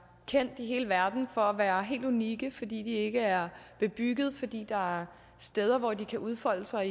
kendt i hele verden for at være helt unikke fordi de ikke er bebyggede fordi der er steder hvor de kan udfolde sig